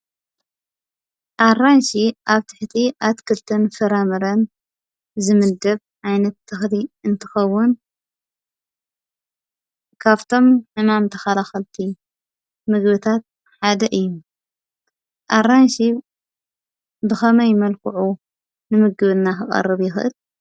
ኣራንሺ ኣብ ትሕቲ ኣትክልትን ፍራምረን ዝምደብ ዓይነት ተክሊ እንትከውን ካብቶም ሕማም ተከላከልቲ ምግብታት ሓደ እዩ፡፡ ኣራንሺ ብከመይ መልክዑ ንምግብና ክቀርብ ይክእል?